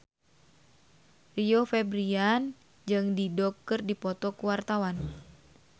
Rio Febrian jeung Dido keur dipoto ku wartawan